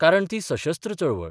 कारण ती सशस्त्र चळवळ.